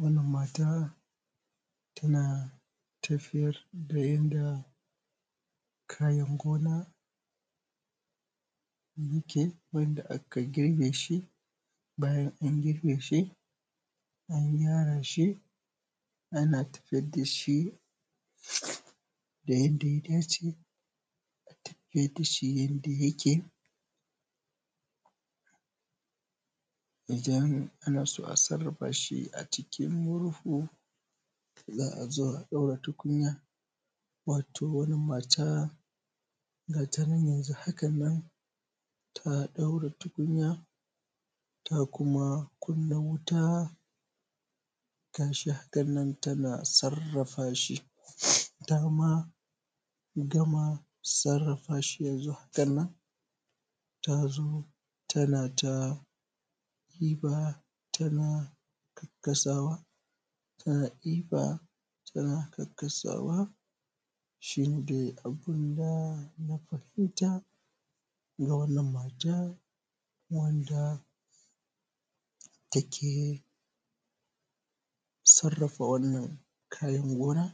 Wannan mata tana tafiyar da yanda kayan gona ke, wanda a ka kirbe shi, bayan an girbe shi an kyara shi, ana tafiyar da shi da yanda ya dace. Ana tafiyar da shi yanda yake idan ana so a sarrafa shi a cikin murhu, za a zo a ɗaura tukunya. Wato, wanni mata tanan yanzu hanan tana ɗaura tukunya, ta kuma kunna wuta, ta sha, wannan tana sarrafa shi. Tama gama sarrafa shi yanzu hanan tazo tana ta ɗiba tana kasawa, ta ɗiba tana kakkaasawa. Shine abun da na fahimta ga wannan mata, wanda teke sarrafa wannan kayan gona,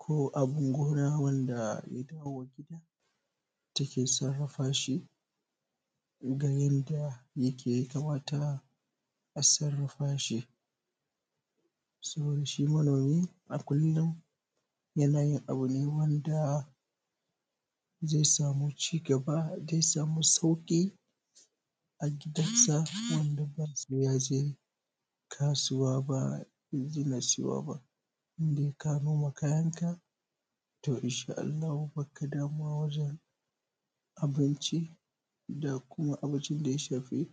go abun gona wanda ya dawo gida, teke sarrafa shi da yanda ya kamata a sarrafa shi. So shi, manomi a kullum yana yin abu ne wanda ze samu cigaba, ze samu sauƙi a gidan sa, wanda ba se ya je kasuwa ba in siyo ba. Indai ka noma kayanka, to inshaa Allahu, bakka wajen abinchi, da kuma abun da ya shafi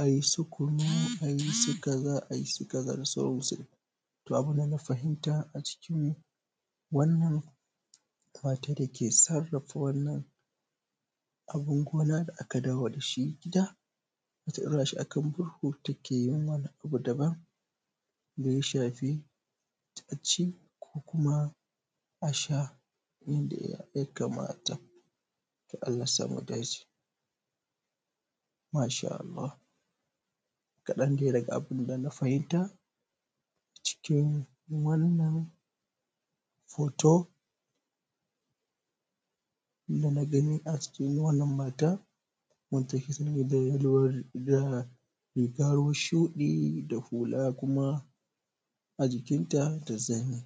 ai su kunu, ai su kaza, ai su kaa, da sauran su. To, abun da na fahimta a cikin wannan mata, dake sarrafa wannan abun gona, da a ka dawo da shi gida, ta ɗaura shi a kan murhu, teke yi mana abu daban, da ya shafi itace ko kuma a sha yanda ya kamata. Allasa mu dace, mashaa Allah, kaɗan ne daga abun da muka fahimta cikin wannan hoto, da na ganin a cikin wannan matan, wanda teke da hula shuɗi, da hula a jikinta da zani.